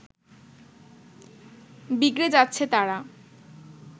বিগড়ে যাচ্ছে তারা